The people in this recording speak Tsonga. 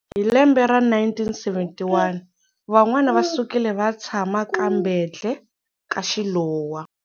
Hi lembe ra 1971 van'wana va sukile vaya tshama ka Mbhendle ka Shilowa.